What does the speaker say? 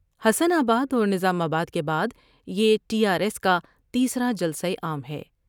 حسن آباداور نظام آباد کے بعد یہ ٹی آرایس کا تیسرا جلسہ عام ہے ۔